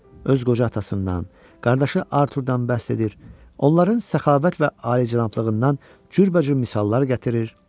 Öz qoca atasından, qardaşı Arturdən bəhs edir, onların səxavət və alicənablığından cürbəcür misallar gətirir.